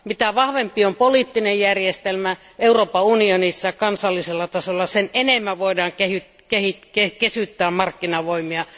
Mitä vahvempi on poliittinen järjestelmä Euroopan unionissa ja kansallisella tasolla, sitä enemmän voidaan kesyttää markkinavoimia.